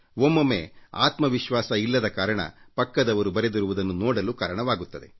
ಒಮ್ಮೊಮ್ಮೆ ಆತ್ಮ ವಿಶ್ವಾಸ ಇಲ್ಲದ ಕಾರಣ ಪಕ್ಕದವರು ಬರೆದಿರುವುದನ್ನು ನೋಡಲು ಕಾರಣವಾಗುತ್ತದೆ